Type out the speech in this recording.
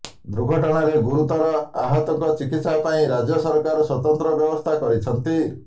ଦୁର୍ଘଟଣାରେ ଗୁରୁତର ଆହତଙ୍କ ଚିକିତ୍ସା ପାଇଁ ରାଜ୍ୟ ସରକାର ସ୍ବତନ୍ତ୍ର ବ୍ୟବସ୍ଥା କରିଛନ୍ତି